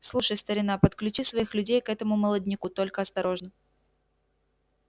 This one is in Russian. слушай старина подключи своих людей к этому молодняку только осторожно